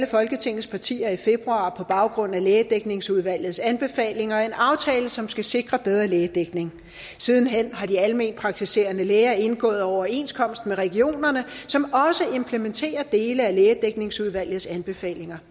folketingets partier i februar på baggrund af lægedækningsudvalgets anbefalinger en aftale som skal sikre bedre lægedækning siden hen har de alment praktiserende læger indgået overenskomst med regionerne som også implementerer dele af lægedækningsudvalgets anbefalinger